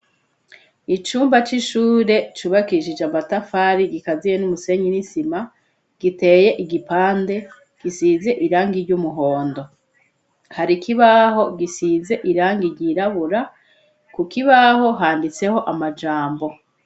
Icumba c'ishure cubakishije amatafari gikaziye n'umusenyi nisima, giteye igipande gisize irangi ry'umuhondo. Hari ikibaho gisize irangi ryirabura, ku kibaho handitseho amajambo.